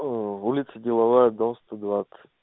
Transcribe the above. оо улица деловая дом сто двадцать